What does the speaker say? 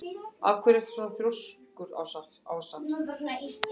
Af hverju ertu svona þrjóskur, Ása?